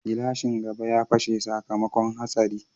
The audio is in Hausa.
Glashin gaba ya fashe sakamakon hatsari.